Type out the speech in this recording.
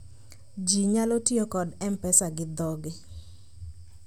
ji nyalo tiyo kod mpesa gi dho gi